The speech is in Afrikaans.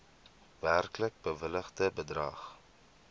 werklik bewilligde bedrag